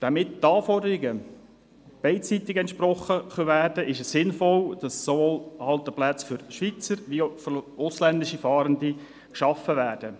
Damit den Anforderungen beider Seiten entsprochen werden kann, ist es sinnvoll, dass sowohl Halteplätze für Schweizer als auch für ausländische Fahrende geschaffen werden.